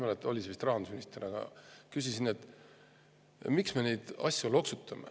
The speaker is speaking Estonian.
Ma ei mäleta täpselt, aga see vist oli rahandusminister, kellelt ma seda küsisin.